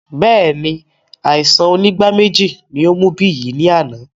Bẹẹni, àìsàn onígbáméjì ní ó mú Biyi ní àná